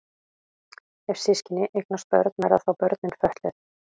Ef systkini eignast börn verða þá börnin fötluð?